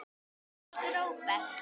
Elsku Róbert.